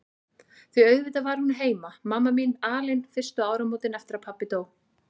Því auðvitað var hún heima, mamma mín, alein fyrstu áramótin eftir að pabbi dó.